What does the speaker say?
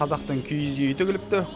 қазақтың киіз үйі тігіліпті